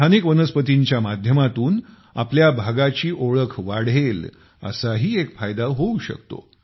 स्थानिक वनस्पतींच्या माध्यमातून आपल्या भागाची ओळख वाढेल असाही एक फायदा होऊ शकतो